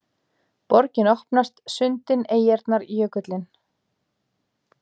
Borgin opnast: sundin, eyjarnar, jökullinn